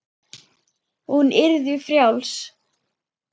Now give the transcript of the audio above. Hún yrði frjáls.